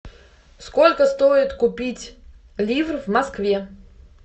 сколько стоит купить лир в москве